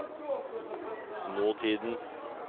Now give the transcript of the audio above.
nåtiden